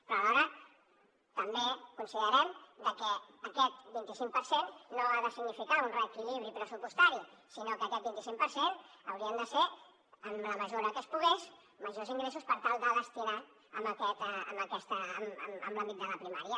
però alhora també considerem que aquest vint i cinc per cent no ha de significar un reequilibri pressupostari sinó que aquest vint i cinc per cent haurien de ser en la mesura que es pogués majors ingressos per tal de destinar los en l’àmbit de la primària